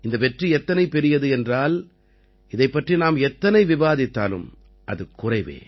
இந்த வெற்றி எத்தனை பெரியது என்றால் இதைப்பற்றி நாம் எத்தனை விவாதித்தாலும் அது குறைவே